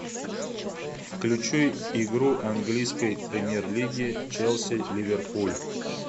включи игру английской премьер лиги челси ливерпуль